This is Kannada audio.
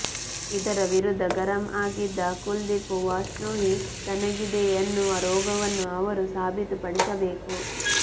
ಇದರ ವಿರುದ್ಧ ಗರಂ ಆಗಿದ್ದ ಕುಲ್ದೀಪ್ ವಾಷ್ಣೋಯಿ ತನಗಿದೆಯೆನ್ನುವ ರೋಗವನ್ನು ಅವರು ಸಾಬೀತು ಪಡಿಸಬೇಕು